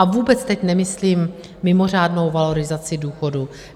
A vůbec teď nemyslím mimořádnou valorizaci důchodů.